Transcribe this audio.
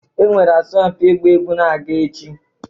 Enwere asọmpi ịgba egwu na-aga echi